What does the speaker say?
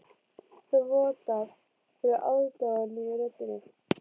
Það vottar fyrir aðdáun í röddinni.